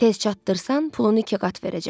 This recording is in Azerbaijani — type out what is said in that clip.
Tez çatdırsan, pulunu iki qat verəcəm.